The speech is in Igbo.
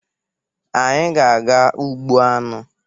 Anyị ga-aga ugbo aṅụ.